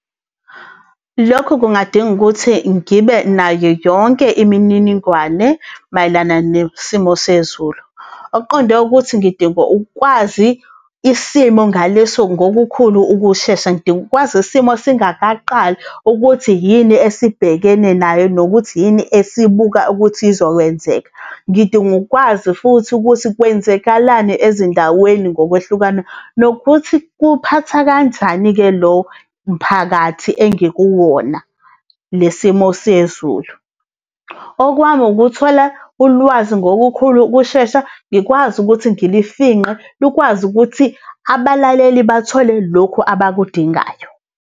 Lokhu kungadinga ukuthi ngibe nayo yonke imininingwane mayelana nesimo sezulu. Okuqonde ukuthi ngidinga ukwazi isimo ngaleso ngokukhulu ukushesha, ngidinga ukwazi isimo singakaqali ukuthi yini esibhekene nayo nokuthi yini esibuka ukuthi izokwenzeka. Ngidinga ukwazi futhi ukuthi kwenzekalani ezindaweni ngokwehlukana, nokuthi kuphatha kanjani-ke lo mphakathi engikuwona, le simo sezulu. Okwami ukuthola ulwazi ngokukhulu ukushesha, ngikwazi ukuthi ngilifingqe lukwazi ukuthi abalaleli bathole lokhu abakudingayo.